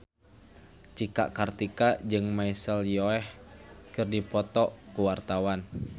Cika Kartika jeung Michelle Yeoh keur dipoto ku wartawan